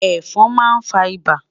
Ẹfọn ma nfa ibà